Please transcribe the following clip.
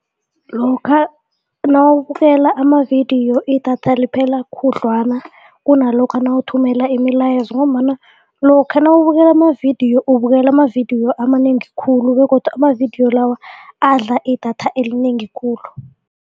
Lokha nawubukela amavidiyo idatha liphela khudlwana kunalokha nawuthumela imilayezo ngombana lokha nawubukela amavidiyo ukubukela amavidiyo amanengi khulu begodu amavidiyo lawa adla idatha elinengi khulu.